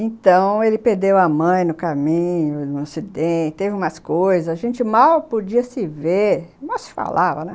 Então, ele perdeu a mãe no caminho, no acidente, teve umas coisas, a gente mal podia se ver, mal se falava, né?